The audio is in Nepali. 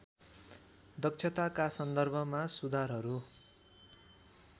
दक्षताका सन्दर्भमा सुधारहरू